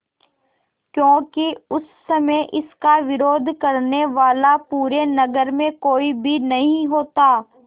क्योंकि उस समय इसका विरोध करने वाला पूरे नगर में कोई भी नहीं होता